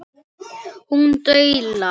Hún dula.